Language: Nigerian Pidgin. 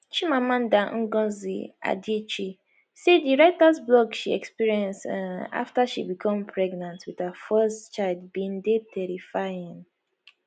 chimamanda ngozi adichie say di writers block she experience um after she become pregnant with her first child bin dey terrifying